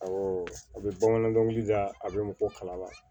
Awɔ a bɛ bamanan dɔnkili da a bɛ mɔgɔ kalama